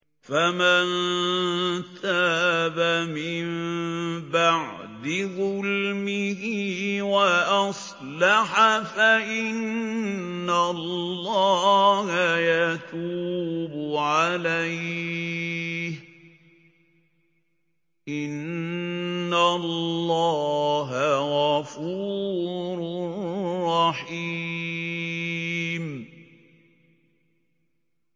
فَمَن تَابَ مِن بَعْدِ ظُلْمِهِ وَأَصْلَحَ فَإِنَّ اللَّهَ يَتُوبُ عَلَيْهِ ۗ إِنَّ اللَّهَ غَفُورٌ رَّحِيمٌ